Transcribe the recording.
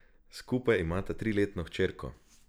Skupaj imata triletno hčerko.